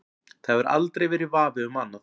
Það hefur aldrei verið vafi um annað.